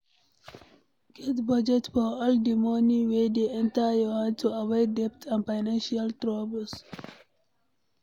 Get budget for all di money wey dey enter your hand to avoid debt and financial troubles